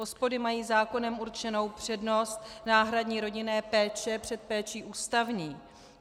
OSPODy mají zákonem určenou přednost náhradní rodinné péče před péčí ústavní.